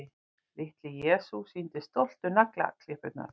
Litli-Jesús sýndi stoltur naglaklippurnar.